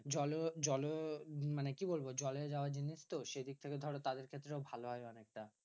জল জল মানে কি বলবো? জলে যাওয়ার জিনিস তো সেদিক থেকে ধরো তাদের ক্ষেত্রেও ভালো হয় অনেকটা।